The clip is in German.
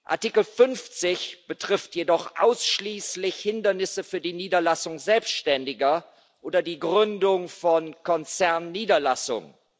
Artikel 50 betrifft jedoch ausschließlich Hindernisse für die Niederlassung Selbstständiger oder die Gründung von Konzernniederlassungen.